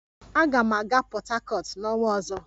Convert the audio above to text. Aga m aga Port Harcourt n'ọnwa ọzọ